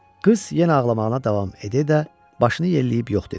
Qız yenə ağlamağına davam edə-edə başını yelləyib yox dedi.